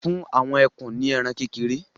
fún àwọn ekun ní ẹran kékeré